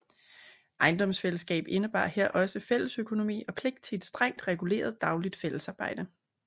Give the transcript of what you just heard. Ejendomsfællesskab indebar her også fællesøkonomi og pligt til et strengt reguleret dagligt fællesarbejde